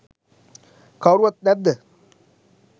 කවුරුත් නැද්ද?